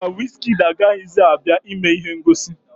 Mba, wizkịdi agaghịzi abịa ime ihe ngosi